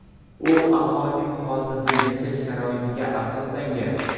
U aholining hozirda yashash sharoitiga asoslangan.